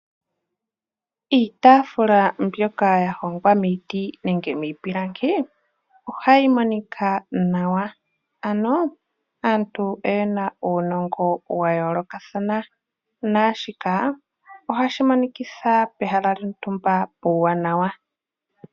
Iitafula mbyoka ya hongwa miiti nenge miipilangi ohayimonika nawa. Anoo aantu oyena uunongo wayoolokathana naashikaa ohashimonikitha pehala lyontumba puuwanawa.